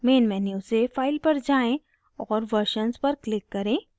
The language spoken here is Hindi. main menu से file पर जाएँ और versions पर click करें